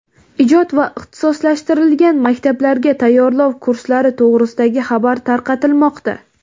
ijod va ixtisoslashtirilgan maktablarga tayyorlov kurslari to‘g‘risidagi xabar tarqatilmoqda.